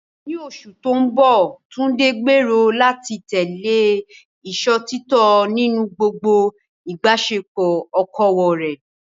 Ní oṣù tó ń bọ̀, Tunde gbèrò láti tẹ̀lé ìṣòtítọ́ nínú gbogbo ìbáṣepọ̀ okòwò rẹ̀.